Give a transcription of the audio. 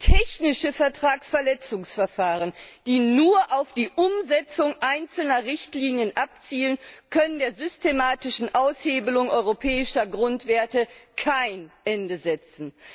Technische Vertragsverletzungsverfahren, die nur auf die Umsetzung einzelner Richtlinien abzielen, können der systematischen Aushebelung europäischer Grundwerte kein Ende setzen.